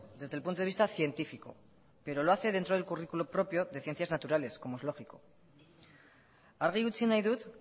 desde el punto de vista científico pero lo hace dentro del currículum propio de ciencias naturales como es lógico argi utzi nahi dut